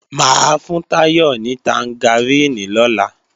Mà á fún Táyọ̀ ní tangaríìnì lọ́la